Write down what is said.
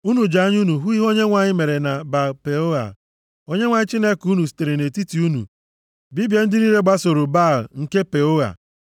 Unu ji anya unu hụ ihe Onyenwe anyị mere na Baal-Peoa. Onyenwe anyị Chineke unu sitere nʼetiti unu bibie ndị niile gbasoro Baal nke Peoa.